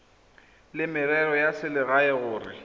la merero ya selegae gore